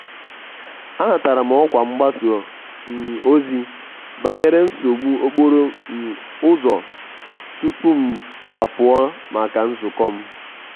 anatara m ọkwa mgbasa um ozi banyere nsogbu okporo um ụzọ tupu m apụọ maka nzukọ m.